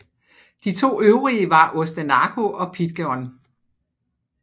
De to øvrige var Ostenaco og Pidegon